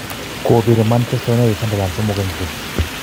Kobir Manchester United Sunderland 3-0.